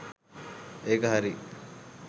ඒක හරි